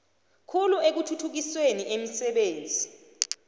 khulu ekuthuthukiseni imisebenzi